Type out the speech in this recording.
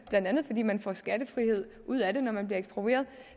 blandt andet fordi man får skattefrihed ud af det når man bliver eksproprieret